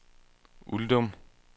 Uldum